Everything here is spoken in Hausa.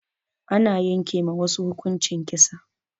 Ana yanke ma wasu hukuncin kisa.